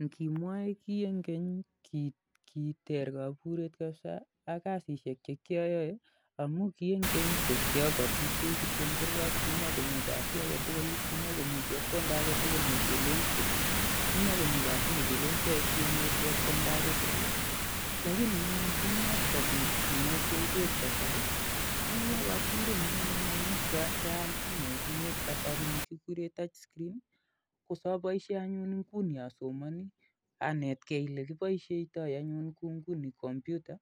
Ingimwoe kii en keny ko kiter koburet kabza ak kasisyek che kioyoe amun ki en keny ko kioboisiei kityo en kurgat amun kimokomi kasi agetugul, kimokomi chebkondo agetugun nekilen, kimokomi kasi negeyoe sigenyor chebkondo agetugul lagini anyun king'et kobit simosiek ab kasari kowalak koburenyun amun kial simet nieb kasari nikikuren touch-screen kosoboisien anyun inguni asomoni, anetkei olegiboisiotoi anyun kou inguni komputer